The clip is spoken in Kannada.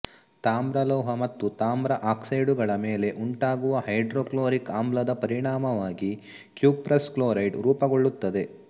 ತಾಮ್ರಲೋಹ ಮತ್ತು ತಾಮ್ರ ಆಕ್ಸೈಡುಗಳ ಮೇಲೆ ಉಂಟಾಗುವ ಹೈಡ್ರೋಕ್ಲೋರಿಕ್ ಆಮ್ಲದ ಪರಿಣಾಮವಾಗಿ ಕ್ಯುಪ್ರಸ್ ಕ್ಲೋರೈಡ್ ರೂಪಗೊಳ್ಳುತ್ತದೆ